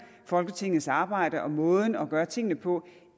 folketingets arbejde og måden at gøre tingene på